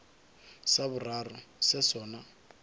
sa boraro se se sona